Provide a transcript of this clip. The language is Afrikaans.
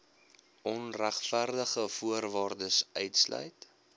onregverdig voorwaardes uitsluit